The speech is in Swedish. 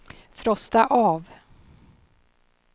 frosta av